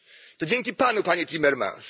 To dzięki Panu, Panie Timmermans.